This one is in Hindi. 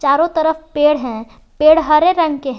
चारों तरफ पेड़ है पेड़ हरे रंग के हैं।